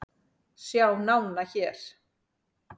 Sjá nána hér